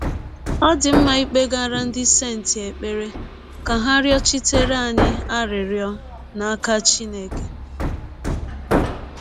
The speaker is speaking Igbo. Ọ̀ dị mma ịkpegara “ ndị senti ” ekpere ka ha rịọchitere anyị arịrịọ n’aka Chineke?